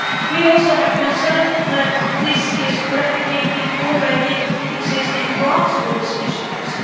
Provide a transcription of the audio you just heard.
We also have concerns that this is replicating already existing grassroots initiatives.